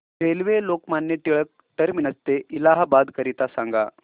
railway Lokmanya Tilak T ते इलाहाबाद करीता सांगा